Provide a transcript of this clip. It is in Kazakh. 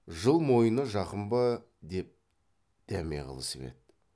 жыл мойыны жақын ба деп дәме қылысып еді